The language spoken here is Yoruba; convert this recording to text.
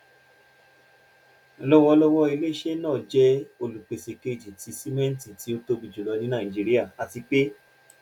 lọwọlọwọ ile-iṣẹ naa jẹ olupese keji ti simẹnti ti o tobi julọ ni naijiria ati pe